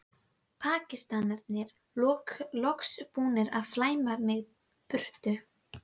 Pakistanarnir loks búnir að flæma mig í burtu.